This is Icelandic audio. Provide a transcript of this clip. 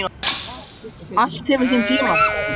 Allt hefur sinn tíma, sagði hún.